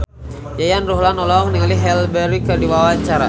Yayan Ruhlan olohok ningali Halle Berry keur diwawancara